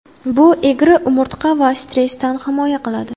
Bu egri umurtqa va stressdan himoya qiladi.